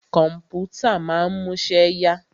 Kọ̀mpútà ma ń múṣẹ́ yá.